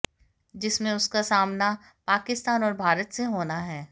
जिसमे उसका सामना पाकिस्तान और भारत से होना है